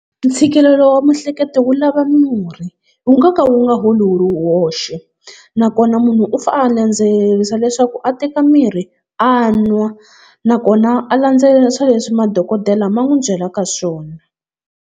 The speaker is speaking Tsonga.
Ntshikelelo wa miehleketo wu lava murhi wu nga ka wu nga holi wu ri woxe. Nakona munhu u fane a landzelerisa leswaku a teka mirhi a nwa nakona a landzelerisa leswi madokodela ma nwi byelaka swona.